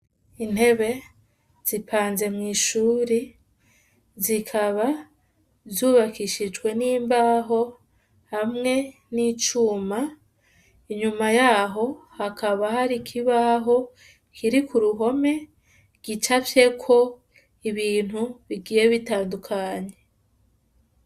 Intebe zipanze mw'ishuri zikaba zubakishijwe n'imbaho hamwe n'icuma inyuma yaho hakaba hari ikibaho kiri ku ruhome gica vyeko ibintu bigiye bitandukanye w wa.